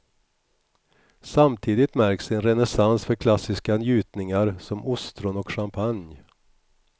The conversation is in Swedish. Samtidigt märks en renässans för klassiska njutningar som ostron och champagne.